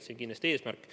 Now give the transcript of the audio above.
See on kindlasti eesmärk.